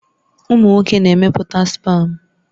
Ụmụ nwoke na-emepụta spam